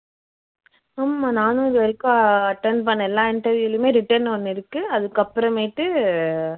ஆமா நானும் இதுவரைக்கும் attend பண்ண எல்லா interview லயுமே written ஒண்ணு இருக்கு அதுக்கு அப்பறமேட்டு அஹ்